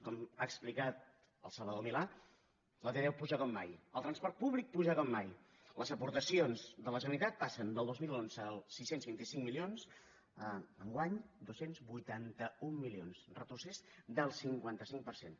com ha explicat el salvador milà la t deu puja com mai el transport públic puja com mai les aportacions de la generalitat passen de el dos mil onze sis cents i vint cinc milions a enguany dos cents i vuitanta un milions un retrocés del cinquanta cinc per cent